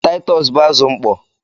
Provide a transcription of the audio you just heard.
Taịtọs bụ azụ mkpọ.